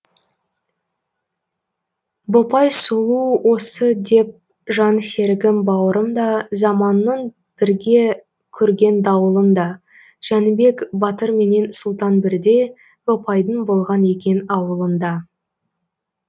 бопай сұлу осы деп жан серігім бауырым да заманның бірге көрген дауылын да жәнібек батырменен сұлтан бірде бопайдың болған екен ауылында